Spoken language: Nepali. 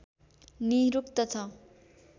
निरुक्त छ